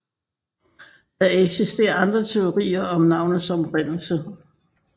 Der eksisterer andre teorier om navnets oprindelse